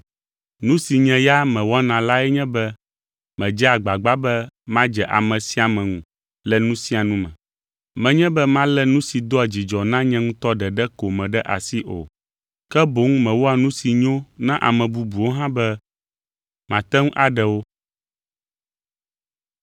Nu si nye ya mewɔna lae nye be medzea agbagba be madze ame sia ame ŋu le nu sia nu me. Menye be malé nu si doa dzidzɔ na nye ŋutɔ ɖeɖe ko me ɖe asi o. Ke boŋ mewɔa nu si nyo na ame bubuwo hã be mate ŋu aɖe wo.